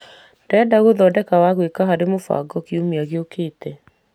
Ndĩreda gũthondeka wa gwĩka harĩ mũbango kiumia gĩũkĩte.